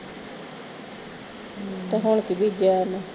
ਤੇ ਹੁਣ ਕਿ ਬੀਜੀਆਂ ਉਹਨੇ